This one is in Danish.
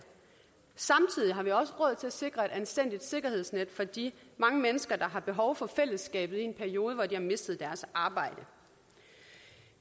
samtidig har vi også råd til at sikre et anstændigt sikkerhedsnet for de mange mennesker der har behov for fællesskabet i en periode hvor de har mistet deres arbejde